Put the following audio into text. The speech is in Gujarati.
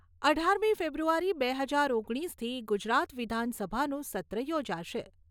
અઢારમી ફેબ્રુઆરી બે હજાર ઓગણીસથી ગુજરાત વિધાનસભાનું સત્ર યોજાશે.